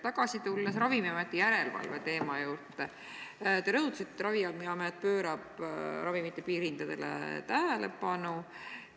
Tagasi tulles Ravimiameti järelevalve teema juurde: te rõhutasite, et Ravimiamet pöörab ravimite piirhindadele tähelepanu.